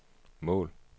mål